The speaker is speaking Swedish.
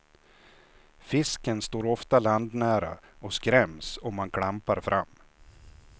Fisken står ofta landnära och skräms om man klampar fram.